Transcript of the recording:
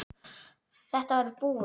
Þetta var búið.